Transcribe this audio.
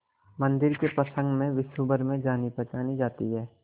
मंदिर के प्रसंग में विश्वभर में जानीपहचानी जाती है